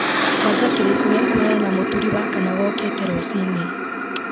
banga kĩrĩko gĩa kwonana na mũturi wakana gookĩte rũci-inĩ